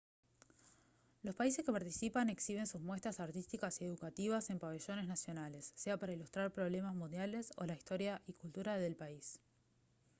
los países que participan exhiben sus muestras artísticas y educativas en pabellones nacionales sea para ilustrar problemas mundiales o la historia y cultura del país